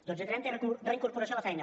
dotze trenta reincorporació a la feina